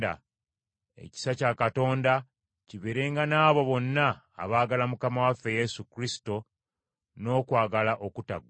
Ekisa kya Katonda kibeerenga n’abo bonna abaagala Mukama waffe Yesu Kristo n’okwagala okutaggwaawo.